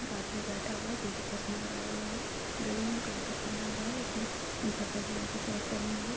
एक आदमी बैठा हुआ हैं जो की चश्मा लगाया हुआ हैं गले में लॉकेट पहना हुआ हैं इसने पर्पल कलर की शर्ट पहनी हुई हैं।